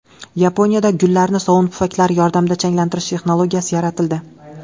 Yaponiyada gullarni sovun pufaklari yordamida changlantirish texnologiyasi yaratildi.